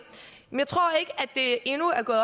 endnu er gået